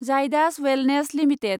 Jaidas wellness limited